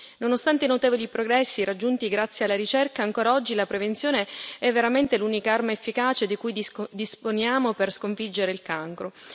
Nonostante i notevoli progressi raggiunti grazie alla ricerca, ancora oggi la prevenzione è veramente l'unica arma efficace di cui disponiamo per sconfiggere il cancro.